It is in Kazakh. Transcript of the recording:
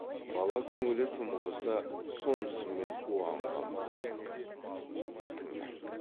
бала көңілі тым құрыса сонысымен уанған болсын тыңдайды